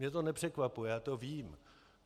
Mě to nepřekvapuje, já to vím.